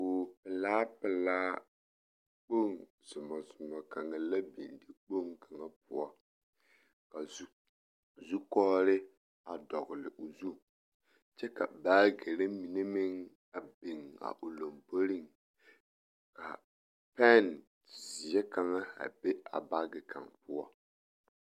Kogi pelaa pelaa kpoŋ zomɔ zomɔ kaŋa la biŋ dikpoŋ kaŋa poɔ ka zukɔgere a dɔgele o zu kyɛ ka baagiri mine meŋ a biŋ a o lomboriŋ ka pɛnzeɛ kaŋa a be a baagi kaŋ poɔ.